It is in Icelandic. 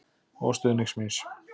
Og stuðnings míns.